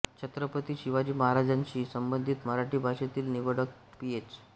छत्रपती शिवाजी महाराजांशी संबंधित मराठी भाषेतील निवडक पीएच